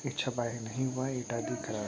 छपाई नहीं हुआ है। ये टेग दिख रहा --